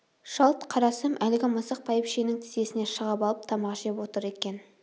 жалт қарасам әлгі мысық бәйбішенің тізесіне шығып алып тамақ жеп отыр екен